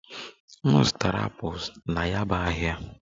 M zụtara apples na yaba ahịa